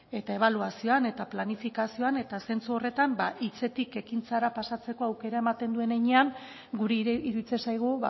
eta ebaluazioan eta planifikazioan eta zentzu horretan ba hitzetik ekintzara pasatzeko aukera ematen duen heinean guri iruditzen zaigu